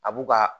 A b'u ka